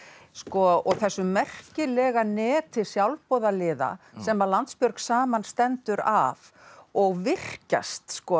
og þessu merkilega neti sjálfboðaliða sem að Landsbjörg saman stendur af og virkjast